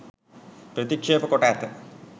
ප්‍රතික්ෂේප කොට ඇත